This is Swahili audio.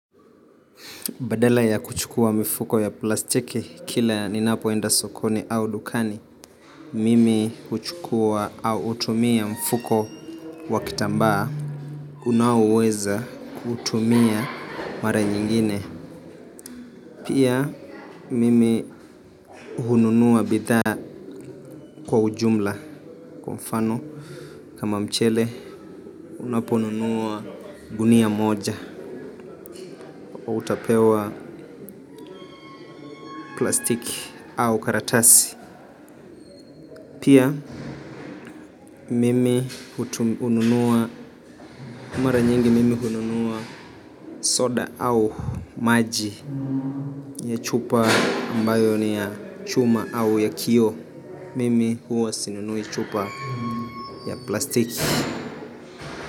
Badala ya kuchukua mifuko ya plastiki kila ninapoenda sokoni au dukani. Mimi huchukua au hutumia mfuko wa kitambaa. Unaoweza kutumia mara nyingine. Pia mimi hununua bidhaa kwa ujumla kwa mfano. Kama mchele, unaponunua gunia moja. Utapewa plastiki au karatasi. Pia mimi hununua, mara nyingi mimi hununua soda au maji ya chupa ambayo ni ya chuma au ya kioo. Mimi huwa sinunui chupa ya plastiki.